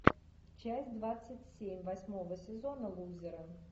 часть двадцать семь восьмого сезона лузеры